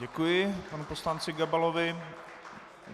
Děkuji panu poslanci Gabalovi.